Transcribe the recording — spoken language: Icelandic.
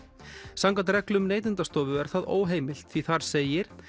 samkvæmt reglum Neytendastofu er það óheimilt því þar segir